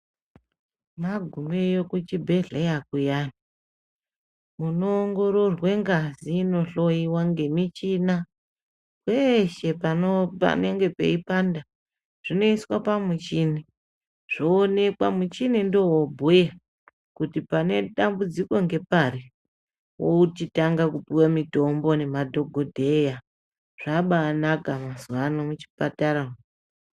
Magumeyo kuchibhedhleya kuyani munoongororwa ngazi inohoiwa ngemina peshe panenge peipanda zvinoiswa pamuchini. Zvoonekwa muchini ndovobhuya kuti pane dambudziko ngepari. Vochitanga kupive mutombo nemadhogodheya, zvabanaka mazuva ano muchipatara umu.